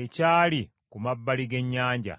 ekyali ku mabbali g’ennyanja.